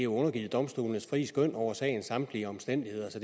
undergivet domstolenes frie skøn over sagens samtlige omstændigheder så